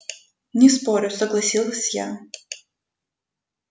не спорю согласилась я